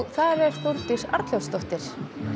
þar er Þórdís Arnljótsdóttir